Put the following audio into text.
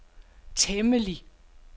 temmelig